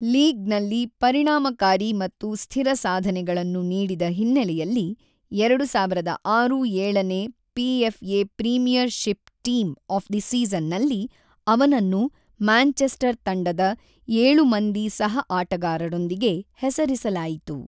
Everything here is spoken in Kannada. ಲೀಗ್ ನಲ್ಲಿ ಪರಿಣಾಮಕಾರಿ ಮತ್ತು ಸ್ಥಿರ ಸಾಧನೆಗಳನ್ನು ನೀಡಿದ ಹಿನ್ನೆಲೆಯಲ್ಲಿ ಎರಡು ಸಾವಿರದ ಆರು-ಏಳನೇ PFA premiership team of the season ನಲ್ಲಿ ಅವನನ್ನು ಮ್ಯಾಂಚೆಸ್ಟರ್ ತಂಡದ ಏಳು ಮಂದಿ ಸಹ ಆಟಗಾರರೊಂದಿಗೆ ಹೆಸರಿಸಲಾಯಿತು.